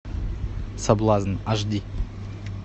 соблазн аш ди